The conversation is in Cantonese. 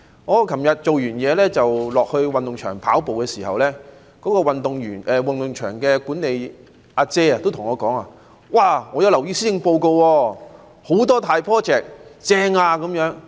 我昨天下班後到運動場跑步，運動場的管理員也跟我說："我留意到施政報告有很多大 project， 正呀！